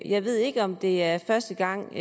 jeg ved ikke om det er første gang